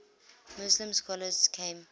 muslim scholars came